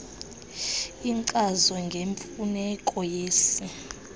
inkcazo ngemfuneko yesi